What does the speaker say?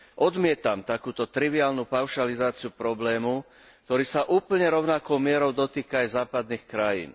Odmietam takúto triviálnu paušalizáciu problému, ktorý sa úplne rovnakou mierou dotýka aj západných krajín.